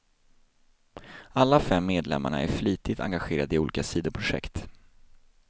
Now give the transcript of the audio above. Alla fem medlemmarna är flitigt engagerade i olika sidoprojekt.